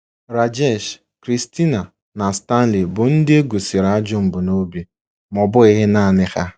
Rajesh, Christina, na Stanley bụ ndị e gosịrị ajọ mbunobi, ma ọ bụghị nanị ha.